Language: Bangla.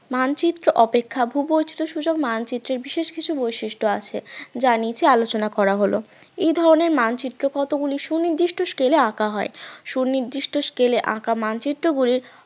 মানচিত্র অপেক্ষা ভূবৈচিত্রসূচক মানচিত্রের বিশেষ কিছু বৈশিষ্ট্য আছে যা নিচে আলোচনা করা হল এ ধরনের মানচিত্র কতগুলি সুনির্দিষ্ট scale এ আঁকা হয় সুনির্দিষ্ট scale এ আঁকা মানচিত্রগুলি